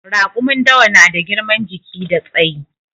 Raƙumin dawa na da girman jiki da tsayi